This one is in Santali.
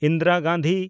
ᱤᱱᱫᱤᱨᱟ ᱜᱟᱱᱫᱷᱤ